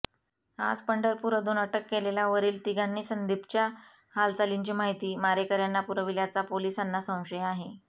आज पंढरपूर अधून अटक केलेल्या वरील तिघांनी संदीपच्या हालचालींची माहिती मारेकऱ्यांना पुरविल्याचा पोलिसांना संशय आहे